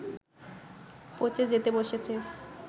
পঁচে যেতে বসেছে